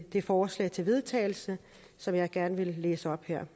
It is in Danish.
det forslag til vedtagelse som jeg gerne vil læse op her